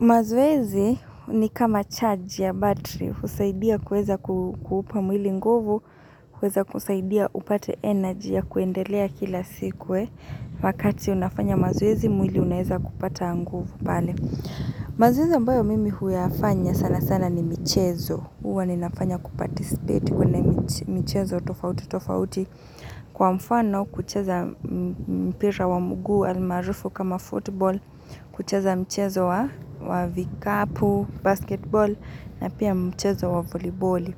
Mazoezi ni kama charge ya battery husaidia kuweza kuupa mwili nguvu, kuweza kusaidia upate energy ya kuendelea kila siku. Wakati unafanya mazoezi mwili unaeza kupata nguvu pale. Mazoezi ambayo mimi huyafanya sana sana ni michezo. Huwa ninafanya kuparticipate kwenye michezo tofauti tofauti Kwa mfano kucheza mpira wa mguu almaarufu kama football kucheza mchezo wa vikapu, basketball na pia mchezo wa voliboli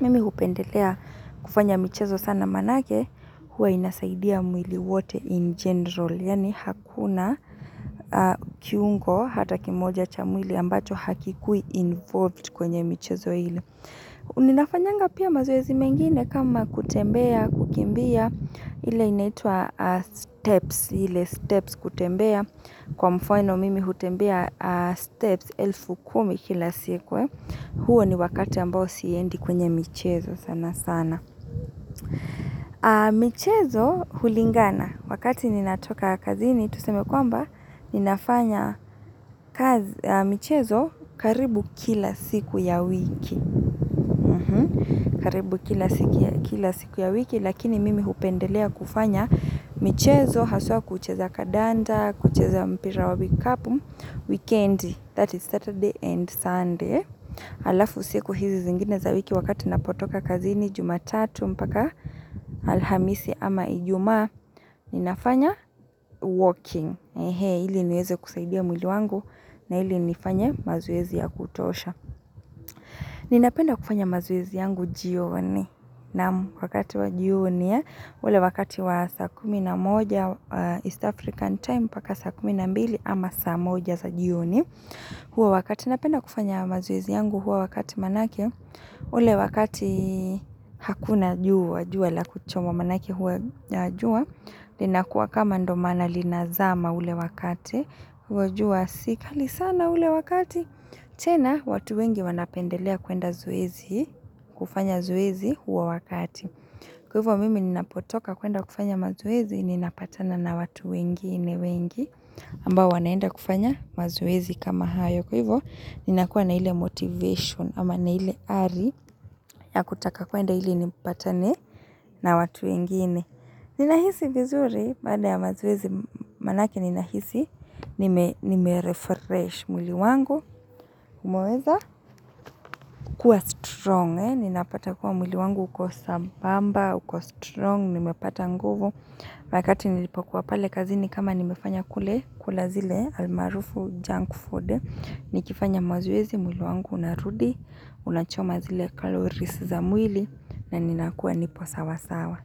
Mimi hupendelea kufanya michezo sana maanake huwa inasaidia mwili wote in general. Yaani hakuna kiungo hata kimoja cha mwili ambacho hakikui involved kwenye michezo ile. Ninafanyanga pia mazoezi mengine kama kutembea, kukimbia, ile inaitwa steps ile steps kutembea kwa mfano mimi hutembea steps elfu kumi kila siku huo ni wakati ambao siendi kwenye michezo sana sana. Michezo hulingana wakati ninatoka kazini tuseme kwamba ninafanya michezo karibu kila siku ya wiki karibu kila siku ya wiki lakini mimi hupendelea kufanya michezo haswa kucheza kandanda, kucheza mpira wa vikapu wikendi that is Saturday and Sunday halafu siku hizi zingine za wiki wakati napotoka kazini kutoka Jumatatu mpaka alhamisi ama Ijumaa ninafanya walking ili niweze kusaidia mwili wangu na ili nifanye mazoezi ya kutosha ninapenda kufanya mazoezi yangu jioni na wakati wa jioni ule wakati wa saa kumi na moja east african time mpaka saa kumi na mbili ama saa moja za jioni huo wakati napenda kufanya mazoezi yangu huo wakati maanake ule wakati hakuna jua, jua la kuchoma maanake huwa jua. Linakua kama ndio maana linazama ule wakati. Kwa hiyo jua si kali sana ule wakati. Tena watu wengi wanapendelea kuenda zoezi. Kufanya zoezi huo wakati. Kwa hivyo mimi ninapotoka kuenda kufanya mazoezi. Ninapatana na watu wengine wengi. Ambao wanaenda kufanya mazoezi kama hayo. Kwa hivyo ninakuwa na ile motivation. Ama na hile ari. Ya kutaka kuenda hili nipatane. Na watu wengine, ninahisi vizuri baada ya mazoezi maanake ninahisi, nimerefresh mwili wangu, kumeweza, kuwa strong, ninapata kuwa mwili wangu uko sambamba, uko strong, nimepata nguvu. Wakati nilipokuwa pale kazini kama nimefanya kule kula zile almarufu junk food, nikifanya mazoezi mwili wangu unarudi, unachoma zile calories za mwili na ninakuwa nipo sawa sawa.